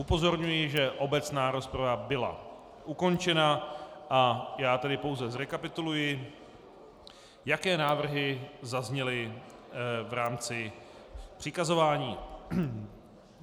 Upozorňuji, že obecná rozprava byla ukončena, a já tedy pouze zrekapituluji, jaké návrhy zazněly v rámci přikazování.